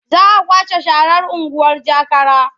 Za a kwashe sharar unguwar Jakara.